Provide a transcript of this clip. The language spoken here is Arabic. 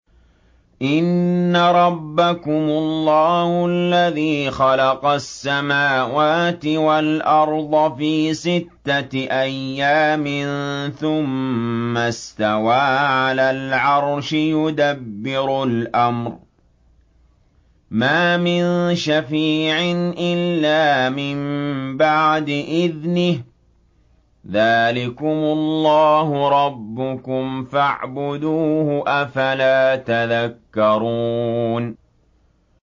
إِنَّ رَبَّكُمُ اللَّهُ الَّذِي خَلَقَ السَّمَاوَاتِ وَالْأَرْضَ فِي سِتَّةِ أَيَّامٍ ثُمَّ اسْتَوَىٰ عَلَى الْعَرْشِ ۖ يُدَبِّرُ الْأَمْرَ ۖ مَا مِن شَفِيعٍ إِلَّا مِن بَعْدِ إِذْنِهِ ۚ ذَٰلِكُمُ اللَّهُ رَبُّكُمْ فَاعْبُدُوهُ ۚ أَفَلَا تَذَكَّرُونَ